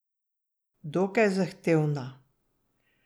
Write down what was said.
Dokaj zahtevna.